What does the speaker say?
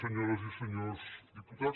senyores i senyors diputats